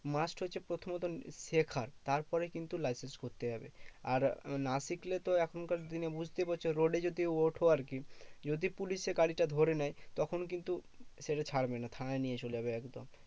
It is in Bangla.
Must হচ্ছে প্রথমত শেখা। তারপরে কিন্তু licence করতে যাবে। আর না শিখলে তো এখনকার দিনে বুঝতেই পারছো road এ যদি ওঠো আরকি। যদি পুলিশে গাড়িটা ধরে নেয়, তখন কিন্তু সে ছাড়বে না থানায় নিয়ে চলে যাবে একদম।